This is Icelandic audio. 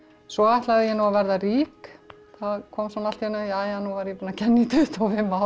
svo ætlaði ég nú að verða rík það kom svona allt í einu jæja nú er ég búin að kenna í tuttugu